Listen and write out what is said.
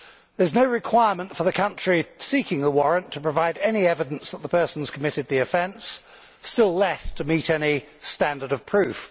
There is no requirement for the country seeking a warrant to provide any evidence that the person has committed the offence, still less to meet any standard of proof.